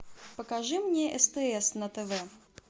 покажи мне стс на тв